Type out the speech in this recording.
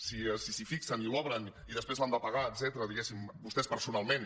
si s’hi fixen i si l’obren i després l’han de pagar etcètera diguéssim vostès personalment